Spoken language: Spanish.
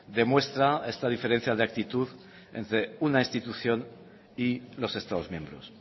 demuestra esta diferencia de actitud entre una institución y los estados miembros